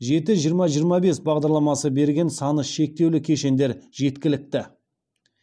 жеті жиырма жиырма бес бағдарламасы берген саны шектеулі кешендер жеткілікті